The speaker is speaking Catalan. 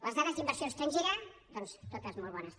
les dades d’inversió estrangera doncs totes molt bones també